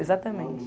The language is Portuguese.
Exatamente.